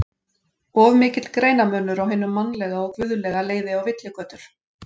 Of mikill greinarmunur á hinu mannlega og guðlega leiði á villigötur.